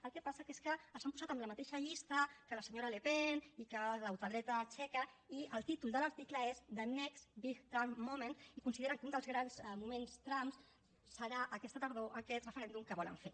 el que passa que és que els han posat en la mateixa llista que la senyora le pen i que la ultradreta txeca i el títol de l’article és the next big trump moments i consideren que un dels grans moments trump serà aquesta tardor aquest referèndum que volen fer